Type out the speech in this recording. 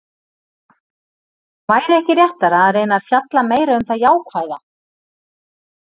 Væri ekki réttara að reyna að fjalla meira um það jákvæða?